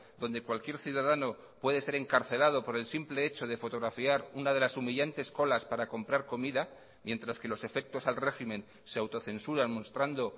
donde cualquier ciudadano puede ser encarcelado por el simple hecho de fotografiar una de las humillantes colas para comprar comida mientras que los efectos al régimen se autocensuran mostrando